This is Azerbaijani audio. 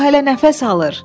O hələ nəfəs alır.